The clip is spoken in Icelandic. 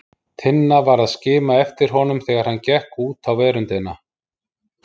Tinna var að skima eftir honum þegar hann gekk út á veröndina.